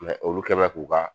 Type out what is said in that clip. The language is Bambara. olu kɛmɛ k'u ka